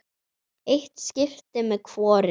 Eitt skipti með hvorum.